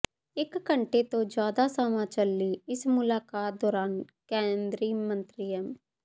ਇਕ ਘੰਟੇ ਤੋਂ ਜ਼ਿਆਦਾ ਸਮਾਂ ਚਲੀ ਇਸ ਮੁਲਾਕਾਤ ਦੌਰਾਨ ਕੇਂਦਰੀ ਮੰਤਰੀ ਐੱਮ